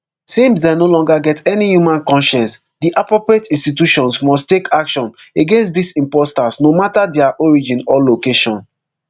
since dem no longer get any human conscience di appropriate institutions must take action against dis impostors no matta dia origin or location